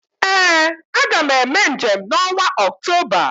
ee Aga m eme njem n’ọnwa Ọktoba